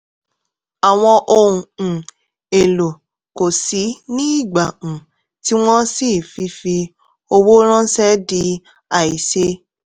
àwọn ohun um èlò kò ṣìí ní ìgbà um tí wọ́n ṣii fífi owó ránṣẹ́ di àìṣeé. um